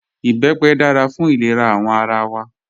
Ìbẹ́pẹ dára fún ilẹ̀rà awọn ara wa